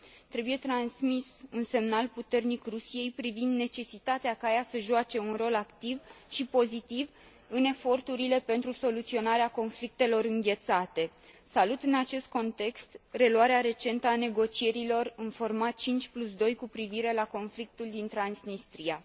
Trebuie transmis un semnal puternic Rusiei privind necesitatea ca ea să joace un rol activ și pozitiv în eforturile pentru soluționarea conflictelor înghețate. Salut, în acest context, reluarea recentă a negocierilor, în forma 52, cu privire la Transnistria.